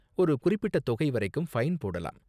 ஒரு குறிப்பிட்ட தொகை வரைக்கும் ஃபைன் போடலாம்.